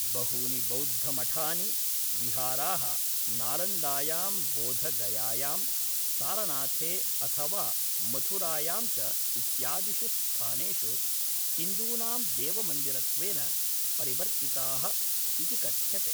बहूनि बौद्धमठानि विहाराः, नालन्दायां बोधगयायां, सारनाथे अथवा मथुरायां च इत्यादिषु स्थानेषु हिन्दूनां देवमन्दिरत्वेन परिवर्तिताः इति कथ्यते।